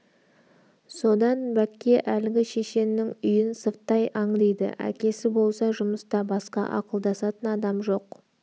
содан бәкке әлгі шешеннің үйін сырттай аңдиды әкесі болса жұмыста басқа ақылдасатын адам жоқ